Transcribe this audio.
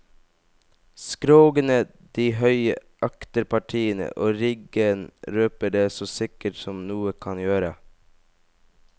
Skrogene, de høye akterpartiene og riggen røper det så sikkert som noe kan gjøre.